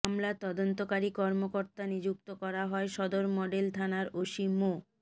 মামলার তদন্তকারী কর্মকর্তা নিযুক্ত করা হয় সদর মডেল থানার ওসি মো